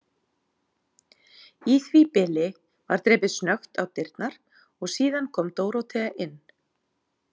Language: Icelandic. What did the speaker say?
Í því bili var drepið snöggt á dyrnar og síðan kom Dórótea inn.